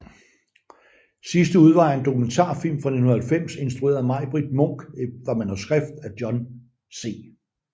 Sidste udvej er en dokumentarfilm fra 1990 instrueret af Majbritt Munck efter manuskript af Jon C